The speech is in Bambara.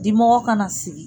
Dimɔgɔ kana sigi